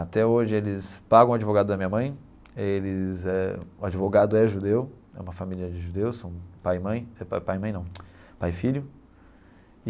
Até hoje eles pagam o advogado da minha mãe, eles eh o advogado é judeu, é uma família de judeus, são pai e mãe, pai mãe não pai e filho.